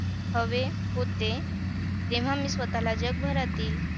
अ आजचा आपला विषय आहे शाळा आ माझी शाळा .